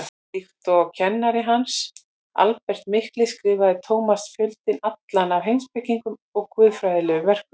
Líkt og kennari hans, Albert mikli, skrifaði Tómas fjöldann allan af heimspekilegum og guðfræðilegum verkum.